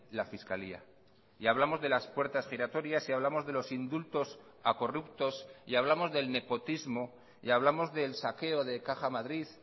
la fiscalía y hablamos de las puertas giratorias y hablamos de los indultos a corruptos y hablamos del nepotismo y hablamos del saqueo de caja madrid